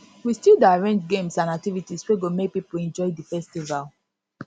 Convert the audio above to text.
we still dey arrange games and activities wey go make pipo enjoy di festival